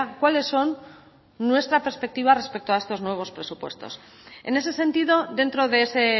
cuáles son nuestra perspectiva respecto a estos nuevos presupuestos en ese sentido dentro de ese